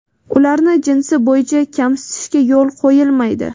ularni jinsi bo‘yicha kamsitishga yo‘l qo‘yilmaydi.